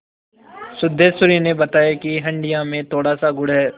सिद्धेश्वरी ने बताया कि हंडिया में थोड़ासा गुड़ है